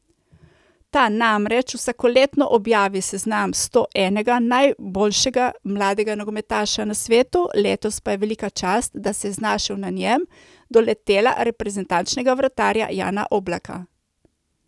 Ta namreč vsakoletno objavi seznam stoenega najboljšega mladega nogometaša na svetu, letos pa je velika čast, da se je znašel na njem, doletela reprezentančnega vratarja Jana Oblaka.